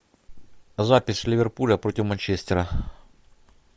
запись ливерпуля против манчестера